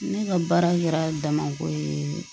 Ne ka baara kɛra damako ye